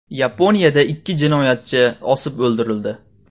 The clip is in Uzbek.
Yaponiyada ikki jinoyatchi osib o‘ldirildi.